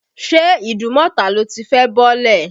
Ṣé Ìdúnmọ̀tà lo ti fẹ́ bọ́lẹ̀?.